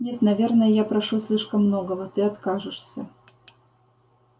нет наверное я прошу слишком многого ты откажешься